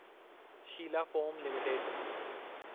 Sheela Foam limited